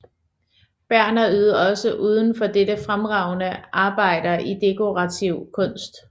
Berner ydede også uden for dette fremragende arbejder i dekorativ kunst